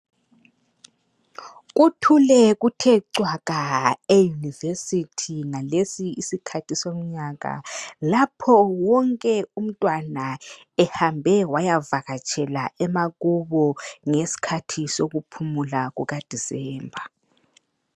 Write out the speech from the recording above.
Kuthule kuthe cwaka e university ngalesi ikhathi somnyaka lapho wonke umntwana ehambe wayavakatshela emakubo ngesikhathi sokuphumula kuka December